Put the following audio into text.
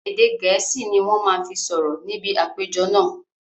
Èdè gẹ̀ẹ́sì ni wọn má fi sọ̀rọ̀ níbi àpéjọ náà